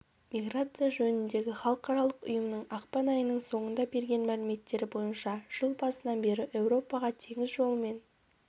миграция жөніндегі халықаралық ұйымның ақпан айының соңында берген мәліметтері бойынша жыл басынан бері еуропаға теңіз жолымен